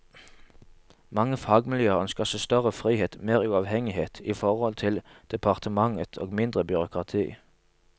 Mange fagmiljøer ønsker seg større frihet, mer uavhengighet i forhold til departementet og mindre byråkrati.